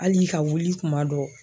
Hali ka wuli kuma dɔw